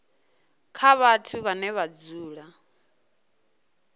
kha vhathu vhane vha dzula